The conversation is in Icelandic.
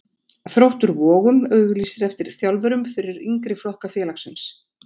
Þróttur Vogum auglýsir eftir þjálfurum fyrir yngri flokka félagsins.